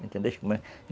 Entendesse como é?